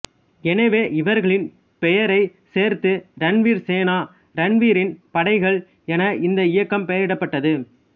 எனவே இவர்களின் பெயரை சேர்த்து ரன்வீர் சேனா ரன்வீரின் படைகள் என இந்த இயக்கம் பெயரிடப்பட்டது